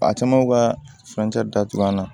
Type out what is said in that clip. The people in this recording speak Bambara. A caman ka datugulan na